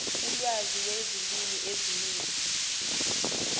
ulwazi lwezilimi eziningi